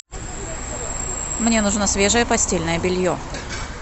мне нужно свежее постельное белье